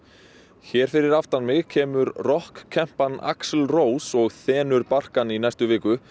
hér fyrir aftan kemur rokkkempan Axl Rose og þenur barkann í næstu viku